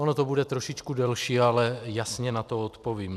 Ono to bude trošičku delší, ale jasně na to odpovím.